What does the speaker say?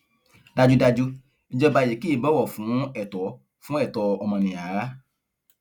dájúdájú ìjọba yìí kì í bọwọ fún ẹtọ fún ẹtọ ọmọnìyàn rárá